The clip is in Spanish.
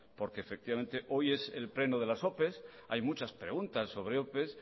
porque efectivamente hoy es el pleno de las opes hay muchas preguntas sobre opes